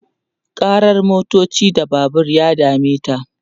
karar motoci da Babur ya dameta